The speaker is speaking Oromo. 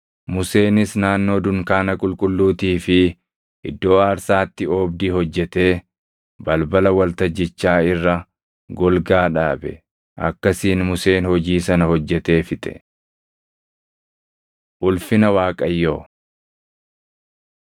Museenis naannoo dunkaana qulqulluutii fi iddoo aarsaatti oobdii hojjetee balbala waltajjichaa irra golgaa dhaabe; akkasiin Museen hojii sana hojjetee fixe. Ulfina Waaqayyoo